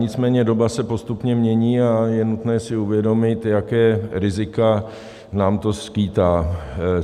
Nicméně doba se postupně mění a je nutné si uvědomit, jaká rizika nám to skýtá.